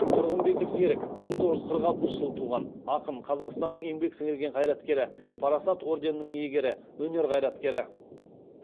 тұрғынбекұлы серік мың тоғыз жүз қырық алтыншы жылы туған ақын қазақстанның еңбек сіңірген қайраткері парасат орденінің иегері өнер қайраткерлері